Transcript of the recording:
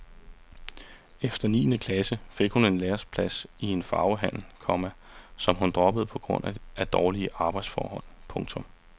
Efter niende klasse fik hun en læreplads i en farvehandel, komma som hun droppede på grund af dårlige arbejdsforhold. punktum